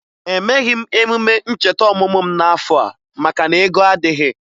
Emeghi m emume ncheta ọmụmụ m n'afọ a maka na ego adịghị